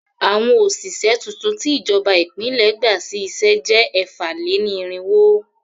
Àwọn òṣìṣẹ́ tuntun tí ìjọba ìpínlẹ̀ gbà sí iṣẹ́ jẹ́ ẹ̀fà-lé-ní-irínwó.